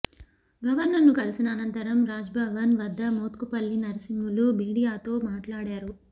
గవర్నర్ను కలిసిన అనంతరం రాజ్భవన్ వద్ద మోత్కుపల్లి నర్సింహులు మీడియాతో మాట్లాడారు